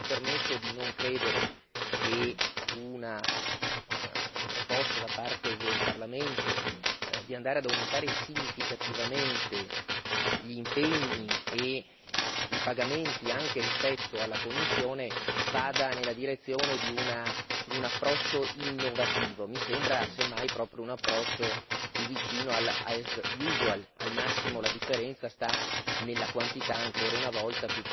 E mi permetto di non credere che una proposta da parte del Parlamento, ossia di andare ad aumentare significativamente gli impegni e i pagamenti anche rispetto alla Commissione, vada nella direzione di un approccio innovativo, mi sembra se mai proprio un approccio più vicino as usual al massimo la differenza sta nella quantità ancora una volta